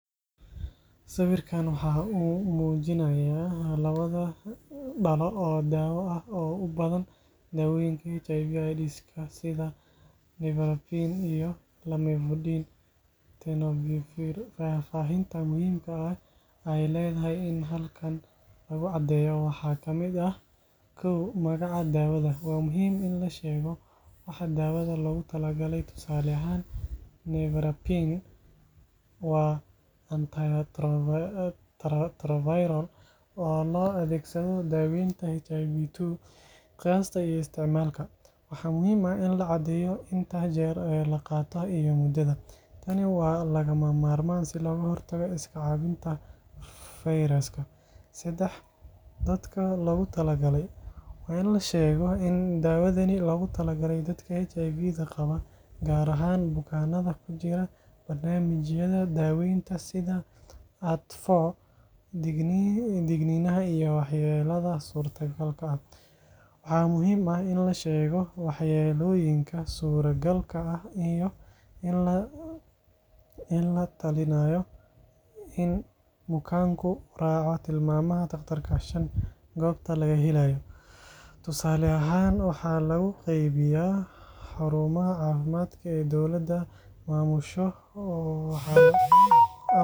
Sawirkan waxa uu muujinayaa laba dhalo oo daawo ah oo u badan daawooyinka HIV/AIDS-ka sida Nevirapine iyo lamivudine tenofovir. Faahfaahinta muhiimka ah ee ay tahay in halkan lagu caddeeyo waxaa ka mid ah Magaca daawada Waa muhiim in la sheego waxa daawada loogu talagalay, tusaale ahaan Nevirapine waa antiretroviral oo loo adeegsado daaweynta HIV Qiyaasta iyo isticmaalka Waxaa muhiim ah in la caddeeyo inta jeer ee la qaato iyo muddada. Tani waa lagama maarmaan si looga hortago iska caabinta fayraska. Dadka loogu talagalay Waa in la sheegaa in daawadani loogu talagalay dadka HIV qaba, gaar ahaan bukaannada ku jira barnaamijyada daawaynta sida ART.Digniinaha iyo waxyeellada suurtagalka ah: Waxaa muhiim ah in la sheego waxyeellooyinka suuragalka ah iyo in la talinayo in bukaanku raaco tilmaamaha dhaqtarka. Goobta laga helayo Tusaale ahaan, waxaa lagu qaybiyaa xarumaha caafimaadka ee dowladdu maamusho.